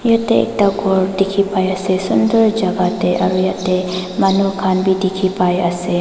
jatte ekta gour dekhi pai ase sunder jagah te aru jatte manu khan bhi dekhi pai ase.